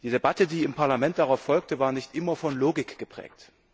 Die Debatte, die im Parlament darauf folgte, war nicht immer von Logik geprägt.